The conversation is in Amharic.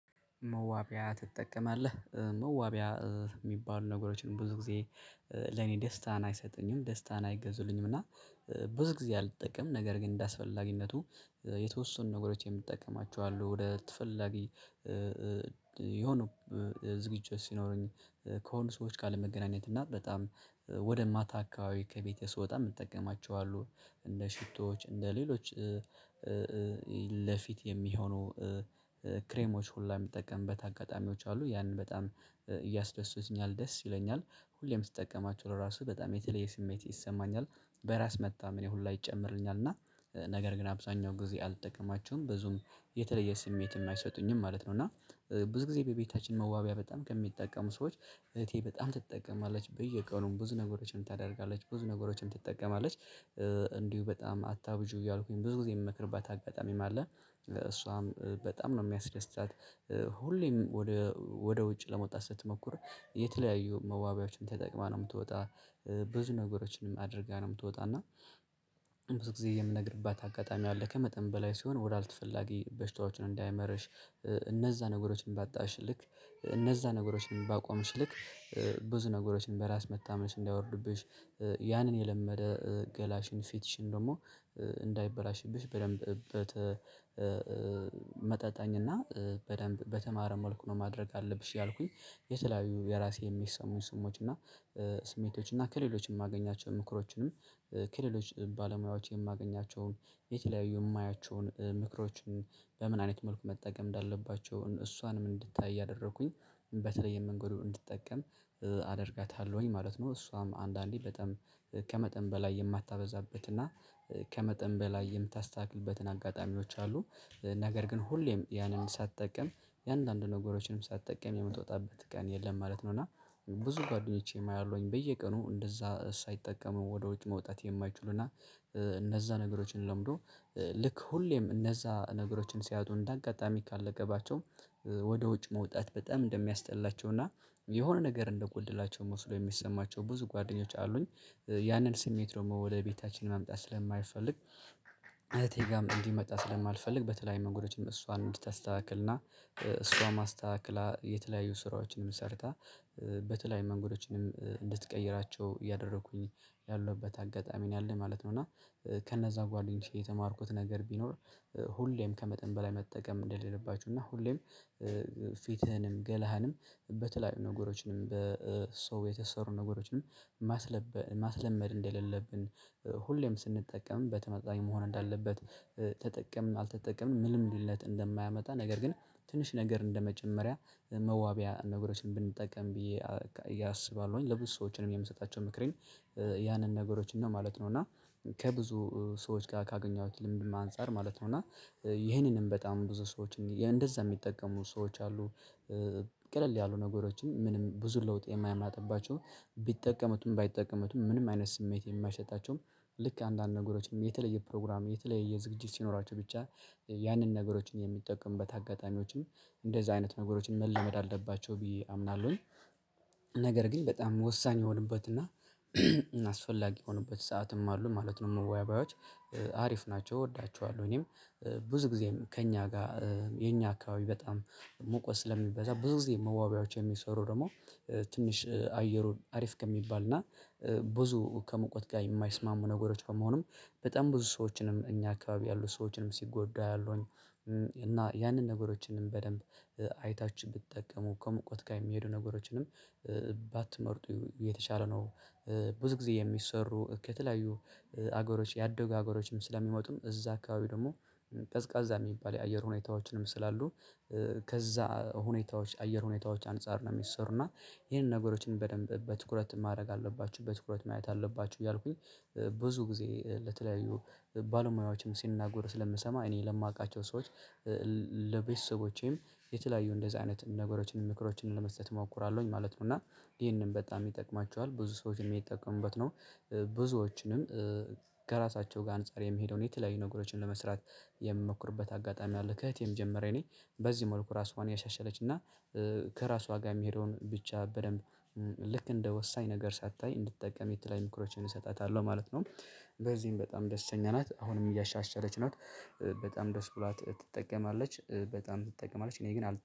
መዋቢያ ትጠቀማለህ መዋቢያ የሚባሉ ነገሮችን ብዙ ጊዜ ለኔ ደስታን አይሰጡኝም ደስታን አይገዙልኝም። እና ብዙ ጊዜ አልጠቀም ነገር ግን እንደአስፈላጊነቱ የተወሰኑ ነገሮች የምትጠቀማቸው አሉ። ወደ ተፈላጊ የሆነ ዝግጁ ሲኖረኝ ከሆኑ ሰዎች ጋር ለመገናኘት እና በጣም ወደ ማታ አካባቢ ከቤቴ ስወጣ የምትጠቀማቸው አሉ እንደ ሽቶዎች እንደ ሌሎች ለፊት የሚሆኑ ክሬሞች ሁሉ የሚጠቀምበት አጋጣሚዎች አሉ ያንን በጣም ያስደሱትኛል ደስ ይለኛል ሁሌም ስትጠቀማቸው ለራሱ በጣም የተለየ ስሜት ይሰማኛል በራስ መተማመኔንም ሁሉ ይጨምርልኛል። እና ነገር ግን አብዛኛው ጊዜ አልጠቀማቸውም ብዙም የተለየ ስሜት የማይሰጡኝም ማለት ነው። እና ብዙ ጊዜ በቤታችን መዋቢያ በጣም ከሚጠቀሙ ሰዎች እህቴ በጣም ትጠቀማለች በየቀኑም ብዙ ነገሮችን ታደርጋለች ብዙ ነገሮችን ትጠቀማለች እንዲሁ በጣም አታብዥው እያልኩኝ ብዙ ጊዜ የምመክርባት አጋጣሚም አለ። እሷም በጣም ነው የሚያስደስታት ሁሌም ወደ ወደ ውጭ ለመውጣት ስትሞክር የተለያዩ መዋቢያዎችን ተጠቅማ ነው የምትወጣ ብዙ ነገሮችንም አድርጋ ነው የምትወጣ እና። ጊዜ የምነግርባት አጋጣሚ አለ ከመጠን በላይ ሲሆን ወደ አልተፈላጊ በሽታዎችን እንዳይመርሽ እነዛ ነገሮችን ባጣሽ ልክ እነዛ ነገሮችን ባቆምሽ ልክ ብዙ ነገሮችን በራስ መተማመንሽን እንዳያወርድብሽ ያንን የለመደ ገላሽን ፊትሽን ደግሞ እንዳይበላሽብሽ በደንብ ተመጠጣኝ እና በደንብ በተማረ መልኩ ነው ማድረግ አለብሽ ያልኩኝ። የተለያዩ የራሴ የሚሰሙ ስሞች እና ስሜቶች እና ከሌሎችም የማገኛቸው ምክሮችንም ከሌሎች ባለሙያዎች የማገኛቸውን የተለያዩ የማያቸውን ምክሮችን በምን አይነት መልኩ መጠቀም እንዳለባቸውን እሷንም እንድታይ እያደረኩኝ በተለይ የመንገዱ እንድትጠቀም አደርጋታለሁኝ ማለት ነው። እሷም አንዳንዴ በጣም ከመጠን በላይ የማታበዛበትና ከመጠን በላይ የምታስታግልበትን አጋጣሚዎች አሉ ነገር ግን ሁሌም ያንን ሳትጠቀም የአንዳንድ ነገሮችንም ሳትጠቀም የምትወጣበት ቀን የለም ማለት ነው። እና ብዙ ጓደኞቼም አያሁኝ በየቀኑ እንደዛ ሳይጠቀሙ ወደ ውጭ መውጣት የማይችሉና እነዛ ነገሮችን ለምዶ ልክ ሁሌም እነዛ ነገሮችን ሲያጡ እንደ አጋጣሚ ካለገባቸው ወደ ውጭ መውጣት በጣም እንደሚያስጠላቸው እና የሆነ ነገር እንደጎደላቸው መውሰዱ የሚሰማቸው ብዙ ጓደኞች አሉኝ። ያንን ስሜት ደግሞ ወደ ቤታችን መምጣት ስለማይፈልግ እህቴ ጋርም እንዲመጣ ስለማልፈልግ በተለይ መንገዶችም እሷን እንድታስተካክልና እሷ ማስተካከል የተለያዩ ስራዎችንም ሰርታ በተለይ መንገዶችንም እንድትቀይራቸው ያደረኩኝ ያለሁበት አጋጣሚ ነው ማለት ነው። እና ከነዛ ጓደኞቼ የተማርኩት ነገር ቢኖር ሁሌም ከመጠን በላይ መጠቀም እንደሌለባችሁ እና ሁሌም ፊትህንም ገላህንም በተለያዩ ነገሮችንም በሰው የተሰሩ ነገሮችን ማስለመድ እንደሌለብን ሁሌም ስንጠቀም በተመጣኝ መሆን እንዳለበት ተጠቀምን አልተጠቀምንም ምንም ልዩነት እንደማያመጣ ነገር ግን ትንሽ ነገር እንደመጀመሪያ መዋቢያ ነገሮችን ብንጠቀም ብዬ አስባለሁኝ። ለብዙ ሰዎችንም የምሰጣቸው ምክሬን ያንን ነገሮች እንደማለት ነው እና ከብዙ ሰዎች ጋር ካገኘሁት ልምድም አንፃር ማለት ነው እና ይሄንንም በጣም ብዙ ሰዎች እንደዛ የሚጠቀሙ ሰዎች አሉ። ቀለል ያሉ ነገሮችን ምንም ብዙ ለውጥ የማያምናትባቸው ቢጠቀሙትም ባይጠቀሙትም ምንም አይነት ስሜት የማይሸጣቸውም ልክ አንዳንድ ነገሮችንም የተለየ ፕሮግራም የተለየ ዝግጅት ሲኖራቸው ብቻ ያንን ነገሮችን የሚጠቀምበት አጋጣሚዎችም እንደዚህ አይነት ነገሮችን መለመድ አለባቸው ብየ አምናሉኝ ነገር ግን በጣም ወሳኝ የሆኑበት እና አስፈላጊ የሆኑበት ሰዓትም አሉ ማለት ነው። መዋቢያወች አሪፍ ናቸው እወዳቸዋለሁ። እኔም ብዙ ጊዜም ከእኛ ጋር የኛ አካባቢ በጣም ሙቀት ስለሚበዛ ብዙ ጊዜ መዋቢያዎች የሚሰሩ ደግሞ ትንሽ አየሩን አሪፍ ከሚባል እና ብዙ ከሙቀት ጋር የማይስማሙ ነገሮች በመሆኑም በጣም ብዙ ሰዎችንም እኛ አካባቢ ያሉ ሰዎችንም ሲጎዳ ያለውን እና ያንን ነገሮችንም በደንብ አይታችሁ ብትጠቀሙ ከሙቀት ጋር የሚሄዱ ነገሮችንም ባትመርጡ የተሻለ ነው። ብዙ ጊዜ የሚሰሩ ከተለያዩ አገሮች ያደጉ አገሮችም ስለሚመጡም እዛ አካባቢ ደግሞ ቀዝቃዛ የሚባል የአየር ሁኔታዎችንም ስላሉ ከዛ ሁኔታዎች አየር ሁኔታዎች አንፃር ነው የሚሰሩና ይሄንን ነገሮችን በደንብ በትኩረት ማድረግ አለባችሁ በትኩረት ማየት አለባችሁ እያልኩኝ ብዙ ጊዜ ለተለያዩ ባለሙያዎችም ሲናገር ስለምሰማ እኔ ለማውቃቸው ሰዎች ለቤተሰቦቼም የተለያዩ እንደዚህ አይነት ነገሮችን ምክሮችን ለመስጠት እሞክራለሁኝ ማለት ነው። እና ይሄንን በጣም ይጠቅማችኋል ብዙ ሰዎች የሚጠቀሙበት ነው። ብዙዎችንም ከራሳቸው ጋር አንፃር የሚሄደውን የተለያዩ ነገሮችን ለመስራት የሚሞክርበት አጋጣሚ አለ ከእህቴም ጀመረ እኔ በዚህ መልኩ ራሷን እና ከራሷ ጋር የሚሄደውን ብቻ በደንብ ልክ እንደ ወሳኝ ነገር ሳታይ እንድትጠቀም የተለያዩ ምክሮችን እሰጣታለሁ ማለት ነው። በዚህም በጣም ደስተኛ ናት አሁንም እያሻሻለች ነው። በጣም ደስ ብሏት ትጠቀማለች በጣም ትጠቀማለች እኔ ግን አል